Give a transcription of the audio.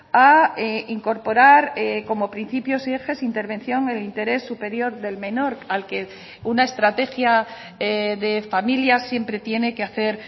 a incorporar como principios y ejes intervención el interés superior del menor al que una estrategia de familia siempre tiene que hacer